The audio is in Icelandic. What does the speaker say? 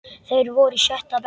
Þeir voru í sjötta bekk.